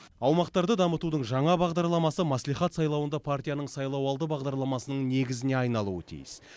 аумақтарды дамытудың жаңа бағдарламасы мәслихат сайлауында партияның сайлауалды бағдарламасының негізіне айналуы тиіс